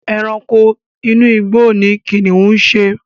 Ẹranko inú igbó ni kìnnìún ń ṣe.